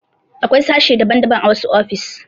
Akwai sashe daban daban a wasu ofis